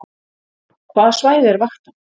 Hvaða svæði er vaktað